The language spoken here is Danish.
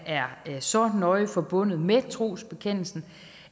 er så nøje forbundet med trosbekendelsen